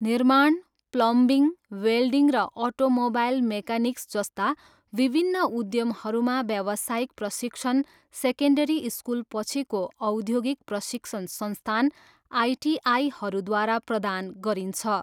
निर्माण, plumbing, welding र automobile mechanics जस्ता विभिन्न उद्यमहरूमा व्यावसायिक प्रशिक्षण सेकेन्डरी स्कुलपछिको औद्योगिक प्रशिक्षण संस्थान, आइटिआईहरूद्वारा प्रदान गरिन्छ।